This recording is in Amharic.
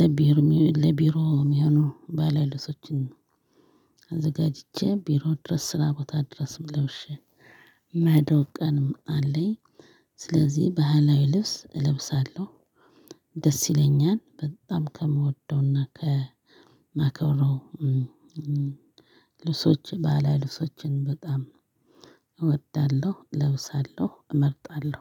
ለቢሮ ለቢሮ የሚሆነው ባህላዊ ልብሶችን። አዘጋጅቼ ቢሮ ድረስ ስራ ቦታ ድረስም ለውሼ እምሄደው ቀንም አለኝ። ስለዚህ ባህላዊ ልብስ እለብሳለሁ። ደስ ይለኛል በጣም ከምወደውና ከማከብረው ልብሶች ባህላዊ ልብሶችን በጣም እወዳለሁ እለብሳለሁ እመርጣለሁ።